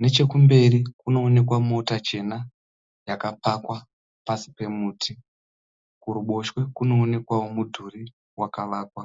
Nechekumberi kune kunookwa mota chena yakamira pasi pemuti. Kuruboshwe kune mudhuri wakavakwa.